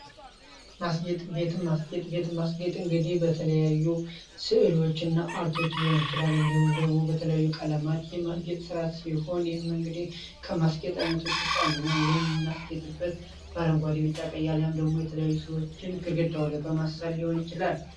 ማስጌጥ፣ ቤትን ማስጌጥ እንግዲህ በተለያዩ ስዕሎች እና አርቶች ሊሆን ይችላል እንዲሁም ደግሞ በተለያዩ ቀለማት የማስጌጥ ስራ ሲሆን ይህም እንግዲህ ከማስጌጥ አይነቶች ዉስጥ አንዱ ነው። ይህም የምናስጌጠው በአረንጓዴ ቢጫ ቀይ አሊያም ደግሞ የተለያዩ ስእሎችን ግድግዳው ላይ በማሰል ሊሆን ይችላል።